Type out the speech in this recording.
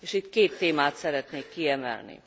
Itt két témát szeretnék kiemelni.